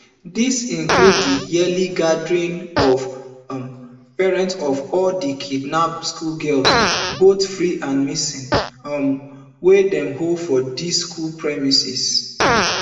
dis include di yearly gathering of um parents of all di kidnapped schoolgirls both free and missing um wey dey hold for di school premises